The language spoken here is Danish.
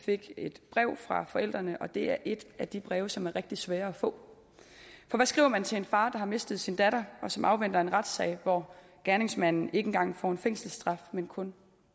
fik et brev fra forældrene og det er et af de breve som er rigtig svære at få for hvad skriver man til en far der har mistet sin datter og som afventer en retssag hvor gerningsmanden ikke engang får en fængselsstraf men kun